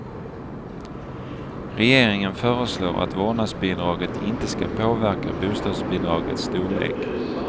Regeringen föreslår att vårdnadsbidraget inte ska påverka bostadsbidragets storlek.